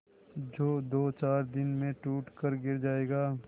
जो दोचार दिन में टूट कर गिर जाएगा